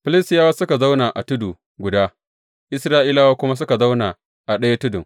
Filistiyawa suka zauna a tudu guda, Isra’ilawa kuma suka zauna a ɗaya tudun.